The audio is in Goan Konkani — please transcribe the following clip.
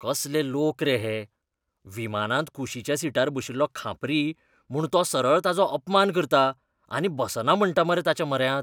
कसले लोक रे हे! विमानांत कुशीच्या सिटार बशिल्लो खापरी, म्हूण तो सरळ ताजो अपमान करता आनी बसना म्हणटा मरे ताचे म्हऱ्यांत.